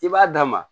I b'a d'a ma